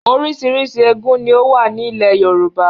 Orísirísi égún ni o wa ni ilẹ Yorùbá.